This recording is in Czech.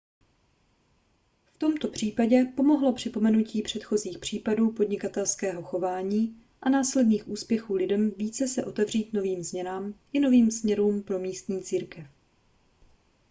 v tomto případě pomohlo připomenutí předchozích případů podnikatelského chování a následných úspěchů lidem více se otevřít novým změnám i novým směrům pro místní církev